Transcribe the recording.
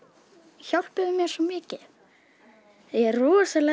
hjálpuðu mér svo mikið ég er rosalega